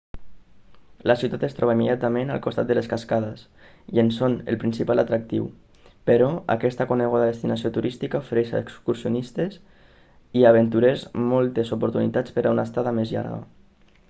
la ciutat es troba immediatament al costat de les cascades i en són el principal atractiu però aquesta coneguda destinació turística ofereix a excursionistes i aventurers moltes oportunitats per a una estada més llarga